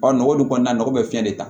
nɔgɔ dun kɔnɔna nɔgɔ bɛ fiɲɛ de ta